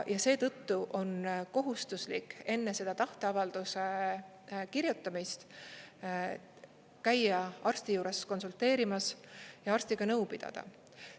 Ja seetõttu on kohustuslik enne seda tahteavalduse kirjutamist käia arsti juures konsulteerimas ja arstiga nõu pidada.